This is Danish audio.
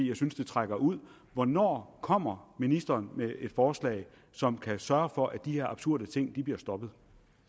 jeg synes det trækker ud hvornår kommer ministeren med et forslag som kan sørge for at de her absurde ting bliver stoppet